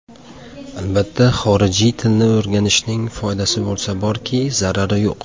Albatta, xorijiy tilni o‘rganishning foydasi bo‘lsa borki, zarari yo‘q.